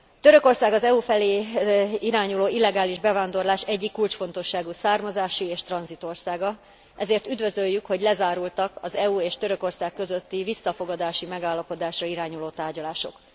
Törökország az EU felé irányuló illegális bevándorlás egyik kulcsfontosságú származási és tranzit országa, ezért üdvözöljük, hogy lezárultak az EU és Törökország közötti visszafogadási megállapodásra irányuló tárgyalások.